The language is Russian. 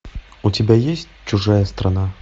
у тебя есть чужая страна